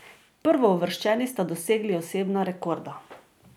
Prvouvrščeni sta dosegli osebna rekorda.